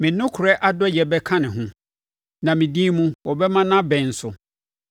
Me nokorɛ adɔeɛ bɛka ne ho, na me din mu, wɔbɛma nʼabɛn so.